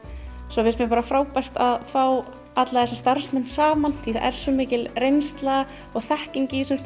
svo finnst mér bara frábært að fá alla þessa starfsmenn saman því það er svo mikil reynsla og þekking í þessum